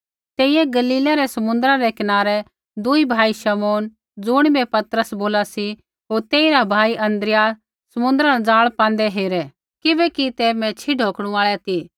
तेइयै गलीलै रै समुन्द्रा रै कनारै दूई भाई शमौन ज़ुणिबै पतरस बोला सी होर तेइरा भाई अन्द्रियास समुन्द्रा न ज़ाल पाँदै हेरै किबैकि ते मैच्छ़ी ढौकणु आल़ै ती